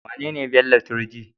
Wanene Bello Turji?